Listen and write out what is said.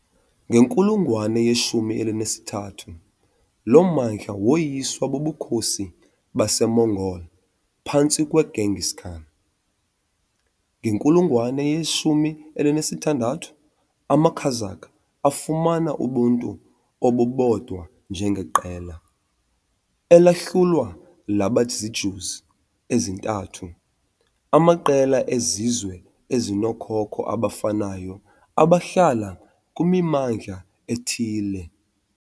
Ngenkulungwane ye-13 lo mmandla woyiswa buBukhosi baseMongol phantsi kweGenghis Khan. Ngenkulungwane ye-16, amaKazakh afumana ubuntu obubodwa njengeqela, elahlulwa laba ziijüz ezintathu amaqela ezizwe ezinookhokho abafanayo abahlala kwimimandla ethile.